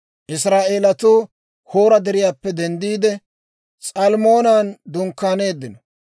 Israa'eelatuu Hoora Deriyaappe denddiide, S'almmoonan dunkkaaneeddino.